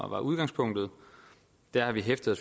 var udgangspunktet har vi hæftet